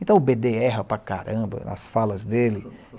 Então o bê dê erra para caramba nas falas dele.